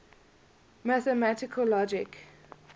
mathematical logic